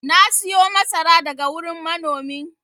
na siyo masara daga wurin manomin